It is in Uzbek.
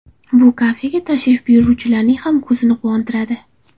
Bu kafega tashrif buyuruvchilarning ham ko‘zini quvontiradi.